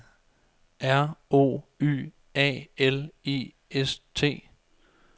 R O Y A L I S T